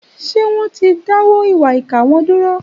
Ṣé wọ́n ti dáwọ́ ìwà ìkà wọn dúró?